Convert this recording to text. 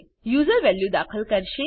user value દાખલ કરશે